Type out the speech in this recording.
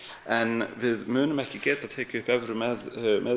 en við munum ekki geta tekið upp evru með